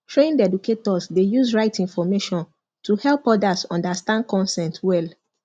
trained educators dey use right information to help others understand consent well